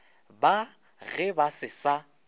ba ge ba se sa